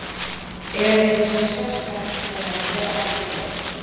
Er eitthvað svona sérstakt sem að ber af í kvöld?